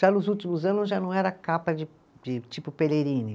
Já nos últimos anos já não era capa de de tipo